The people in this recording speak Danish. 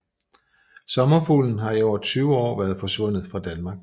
Sommerfuglen har i over 20 år været forsvundet fra Danmark